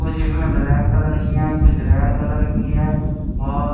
कुछ इसमें black colour की है कुछ रेड कलर की है और--